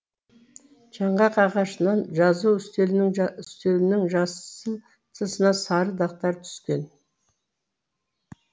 жаңғақ ағашынан жазу үстелінің жасыл тысына сары дақтар түскен